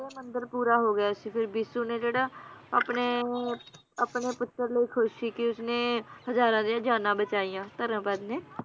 ਇਹ ਮੰਦਿਰ ਪੂਰਾ ਹੋ ਗਿਆ ਸੀ ਫਿਰ ਬਿਸੁ ਨੇ ਜਿਹੜਾ ਆਪਣੇ ਆਪਣੇ ਪੁੱਤਰ ਲਈ ਖੁਸ਼ ਸੀ ਕਿ ਉਸਨੇ, ਹਜ਼ਾਰਾਂ ਦੀਆਂ ਜਾਨਾਂ ਬਚਾਈਆਂ, ਧਰਮਪਦ ਨੇ